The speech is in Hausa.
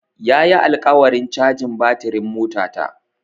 Ya yi alƙawarin cajin batirin motata.